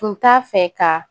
Tun t'a fɛ ka